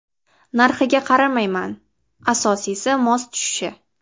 Narxiga qaramayman, asosiysi mos tushishi.